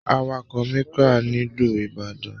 Àwàkọ̀ Micra nílu ìbàdàn